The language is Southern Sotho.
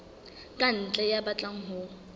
ka ntle ya batlang ho